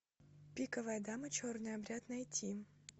пиковая дама черный обряд найти